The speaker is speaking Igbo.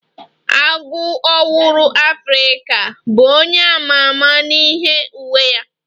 Agụ owuru Afrika bụ onye ama ama n'ihi uwe ya.